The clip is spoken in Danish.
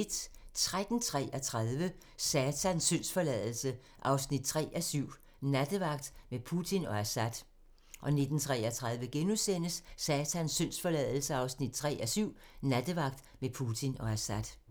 13:33: Satans syndsforladelse 3:7 – Nattevagt med Putin og Assad 19:33: Satans syndsforladelse 3:7 – Nattevagt med Putin og Assad *